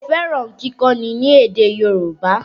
Mo fẹ́ràn kíkọ́ni ní èdè Yorùbá